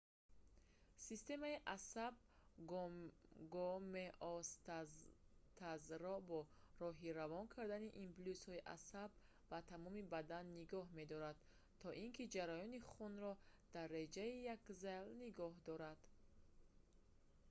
системаи асаб гомеостазро бо роҳи равон кардани импулсҳои асаб ба тамоми бадан нигоҳ медорад то ин ки ҷараёни хунро дар реҷаи якзайл нигоҳ дорад